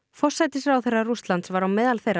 forsætisráðherra Rússlands var á meðal þeirra